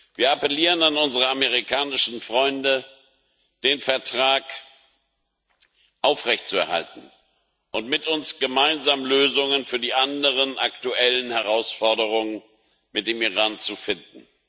Wir appellieren an unsere amerikanischen Freunde, den Vertrag aufrechtzuerhalten und mit uns gemeinsam Lösungen für die anderen aktuellen Herausforderungen mit dem Iran zu finden.